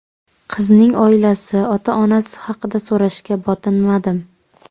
Qizning oilasi, ota-onasi haqida so‘rashga botinmadim.